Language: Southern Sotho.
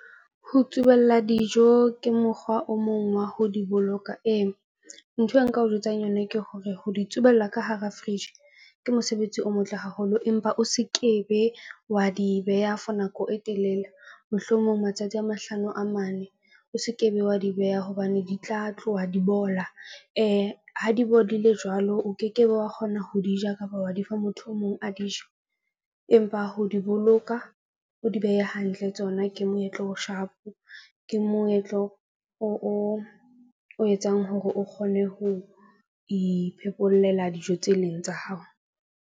Ho tsubella dijo ke mokgwa o mong wa ho di boloka. Ee, nthwe nka o jwetsang yona ke hore ho di tsubella ka hara fridge ke mosebetsi o motle haholo, empa o se ke be wa di beha for nako e telele. Mohlomong matsatsi a mahlano a mane, o se ke be wa di beha hobane di tla tloha di bola. Ha di bodile jwalo, o ke ke be wa kgona ho di ja kapa wa di fa motho o mong a dije. Empa ho di boloka, o di behe hantle tsona ke moetlo o sharp-o. Ke moetlo o o etsang hore o kgone ho iphekollela dijo tse leng tsa hao.